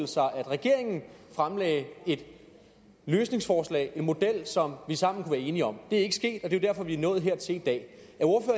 sig at regeringen fremlagde et løsningsforslag en model som vi sammen kunne være enige om det er ikke sket og det er jo derfor vi er nået hertil i dag